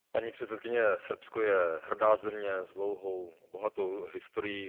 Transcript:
Paní předsedající, Srbsko je hrdá země s dlouhou, bohatou historií.